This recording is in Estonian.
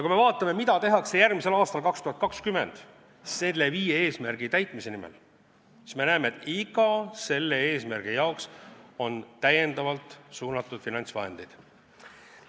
Kui me vaatame, mida tehakse järgmisel, 2020. aastal nende viie eesmärgi täitmise nimel, siis me näeme, et iga eesmärgi jaoks on suunatud täiendavalt finantsvahendeid.